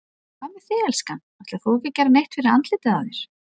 Hvað með þig, elskan. ætlar þú ekki að gera neitt fyrir andlitið á þér?